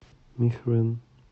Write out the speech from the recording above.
михрэн